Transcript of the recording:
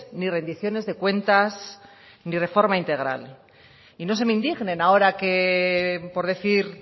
ni rendiciones de cuentas ni reforma integral y no se me indignen ahora que por decir